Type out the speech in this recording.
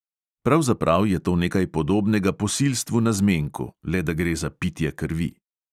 Pravzaprav je to nekaj podobnega posilstvu na zmenku, le da gre za pitje krvi.